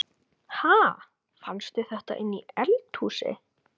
Ha! Fannstu þetta inni í eldhúsi?